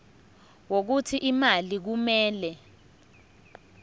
wokuthi imali kumele